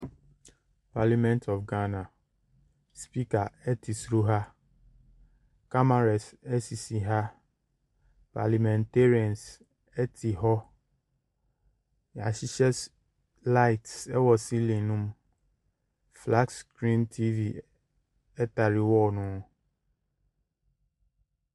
Parliament of Ghana, Speaker te soro ha, cameras sisi ha, parliamentarians tete hɔ. Yɛahyehyɛ s lights wɔ silling ne mu. Flat screen TV tare wall ne ho.